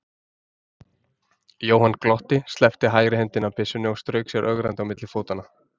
Jóhann glotti, sleppti hægri hendinni af byssunni og strauk sér ögrandi á milli fótanna.